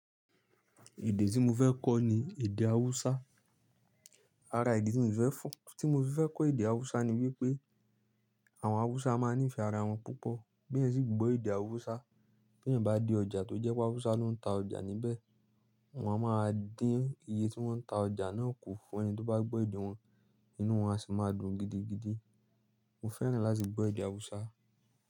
Èdè tí mo fẹ́ kọ́ ni èdè Haúsá. Ara idi tí mi fẹ́ fọ-- tí mo fi fẹ kọ́ èdè Haúsá ni wípé àwọn Haúsá máa ń ní ìfẹ́ ara wọn púpọ̀. Bí ẹ̀ sì gbọ́ èdè Haúsá, bí ẹ̀ bá dé ọjà tó jẹ́ pé Haúsá ló ń ta ọjà níbẹ̀, wọ́n a máa dín iye tí wọ́n ń ta ọjà náà kù fún ẹni tó bá gbọ́ èdè wọn, inú wọn a sì máa dùn gidigidi. Mo fẹ́ràn láti gbọ́ èdè Haúsá.